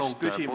Palun küsimust!